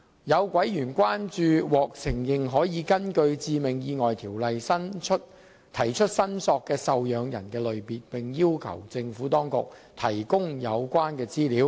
有委員關注獲承認可根據《致命意外條例》提出申索的受養人類別，並要求政府當局提供有關資料。